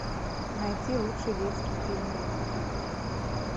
найти лучший детский фильм